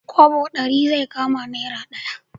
Kwabo ɗari zai kama naira ɗaya